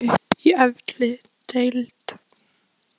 Hún nagaði sig upp í efri deild!